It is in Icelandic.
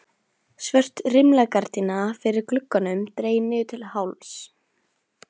Svört rimlagardína fyrir glugganum dregin niður til hálfs.